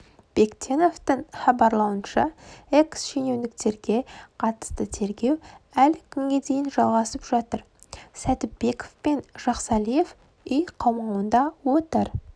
бектеновтің хабарлауынша экс-шенеуніктерге қатысты тергеу әлі күнге дейін жалғасып жатыр сәдібеков пен жақсалиев үй қамауында отыр